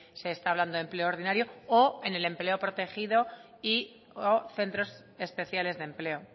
se está hablando de empleo ordinario o en el empleo protegido y o centros especiales de empleo